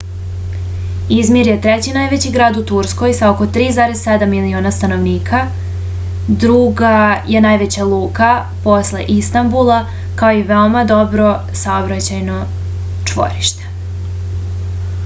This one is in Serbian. izmir je treći najveći grad u turskoj sa oko 3,7 miliona stanovnika druga je najveća luka posle istanbula kao i veoma dobro saobraćajno čvorište